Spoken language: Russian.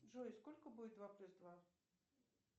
джой сколько будет два плюс два